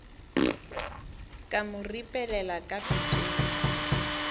ka mo ripelela ka pitšeng